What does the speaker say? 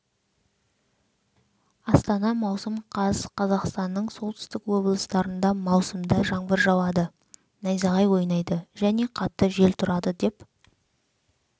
астана маусым қаз қазақстанның солтүстік облыстарында маусымда жаңбыр жауады найзағай ойнайды және қатты жел тұрады деп